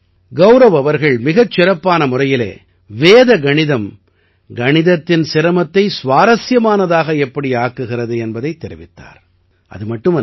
நண்பர்களே கௌரவ் அவர்கள் மிகச் சிறப்பான முறையிலே வேத கணிதம் கணிதத்தின் சிரமத்தை சுவாரசியமானதாக எப்படி ஆக்குகிறது என்பதைத் தெரிவித்தார்